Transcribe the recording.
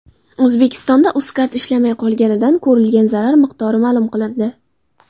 O‘zbekistonda UzCard ishlamay qolganidan ko‘rilgan zarar miqdori ma’lum qilindi.